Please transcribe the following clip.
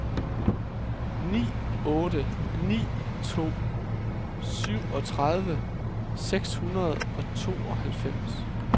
ni otte ni to syvogtredive seks hundrede og tooghalvfems